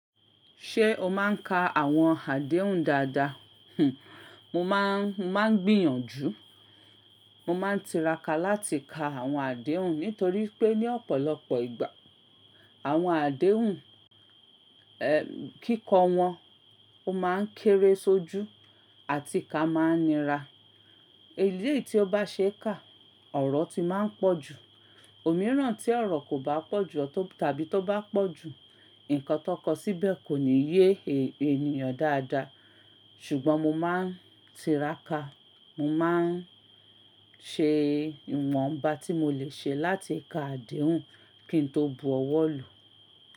Ṣé o máa ń ka àwọn àdéhùn dáadáa? Hih, mo máa ń, mo máa ń gbìyànjú. Mo máa ń tiraka láti ka àwọn àdéhùn nítorí pé ní ọ̀pọ̀lọpọ̀ ìgbà àwọn àdéhùn, eh, kíkọ wọn ó máa ń kéré sójú àti ká máa ń nira. Eléyìí tí ó bá ṣe é kà, ọ̀rọ̀ ti máa ń pọ̀ jù. Òmíràn tí ọ̀rọ̀ kò bá pọ̀ jù tàbí tó bá pọ̀ jù, nǹkan tó kọ síbẹ̀ kò ní yé ènìyàn dáadáa. Ṣùgbọ́n mo máa ń tiraka. Mo máa ń ṣe ìwọ̀nba tí mo lè ṣe láti ka àdéhùn kí n tó bu ọwọ́ lò.